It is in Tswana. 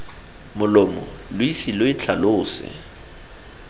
molomo lo ise lo itlhalose